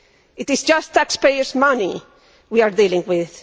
It is just taxpayers' money we are dealing with.